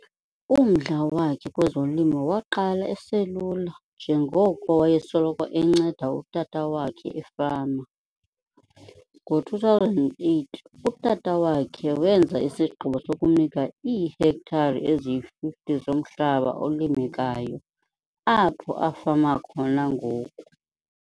Umdla wakhe kwezolimo waqala eselula njengoko wayesoloko enceda utata wakhe efama, ngo-2008 utata wakhe wenza isigqibo sokumnika iihektare eziyi-50 zomhlaba olimekayo apho afama khona ngoku.